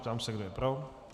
Ptám se, kdo je pro.